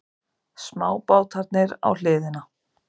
Smábátarnir á hliðina.